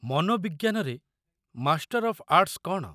ମନୋବିଜ୍ଞାନରେ master of arts କ'ଣ?